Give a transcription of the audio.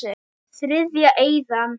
Þriðja eyðan.